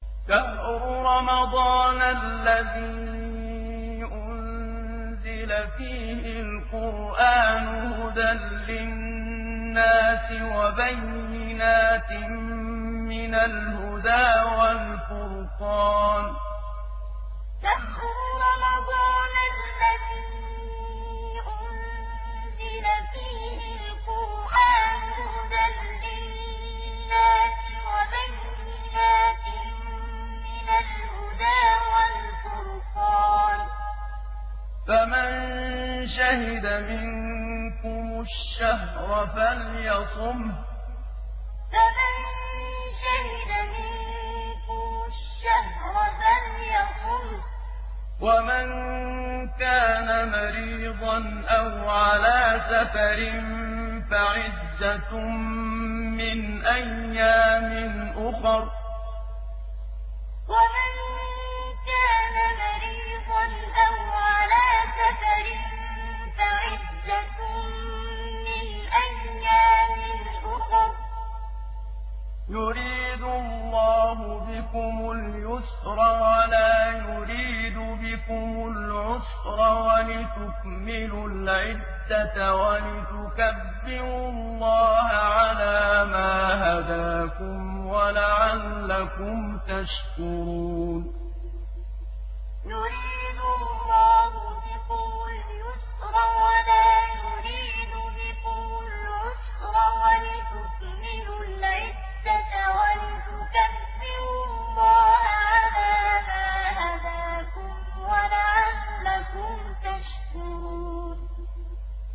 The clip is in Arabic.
شَهْرُ رَمَضَانَ الَّذِي أُنزِلَ فِيهِ الْقُرْآنُ هُدًى لِّلنَّاسِ وَبَيِّنَاتٍ مِّنَ الْهُدَىٰ وَالْفُرْقَانِ ۚ فَمَن شَهِدَ مِنكُمُ الشَّهْرَ فَلْيَصُمْهُ ۖ وَمَن كَانَ مَرِيضًا أَوْ عَلَىٰ سَفَرٍ فَعِدَّةٌ مِّنْ أَيَّامٍ أُخَرَ ۗ يُرِيدُ اللَّهُ بِكُمُ الْيُسْرَ وَلَا يُرِيدُ بِكُمُ الْعُسْرَ وَلِتُكْمِلُوا الْعِدَّةَ وَلِتُكَبِّرُوا اللَّهَ عَلَىٰ مَا هَدَاكُمْ وَلَعَلَّكُمْ تَشْكُرُونَ شَهْرُ رَمَضَانَ الَّذِي أُنزِلَ فِيهِ الْقُرْآنُ هُدًى لِّلنَّاسِ وَبَيِّنَاتٍ مِّنَ الْهُدَىٰ وَالْفُرْقَانِ ۚ فَمَن شَهِدَ مِنكُمُ الشَّهْرَ فَلْيَصُمْهُ ۖ وَمَن كَانَ مَرِيضًا أَوْ عَلَىٰ سَفَرٍ فَعِدَّةٌ مِّنْ أَيَّامٍ أُخَرَ ۗ يُرِيدُ اللَّهُ بِكُمُ الْيُسْرَ وَلَا يُرِيدُ بِكُمُ الْعُسْرَ وَلِتُكْمِلُوا الْعِدَّةَ وَلِتُكَبِّرُوا اللَّهَ عَلَىٰ مَا هَدَاكُمْ وَلَعَلَّكُمْ تَشْكُرُونَ